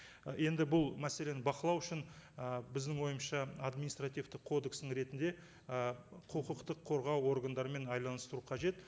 ы енді бұл мәселені бақылау үшін і біздің ойымызша административтік кодекстің ретінде і құқықтық қорғау органдарымен қажет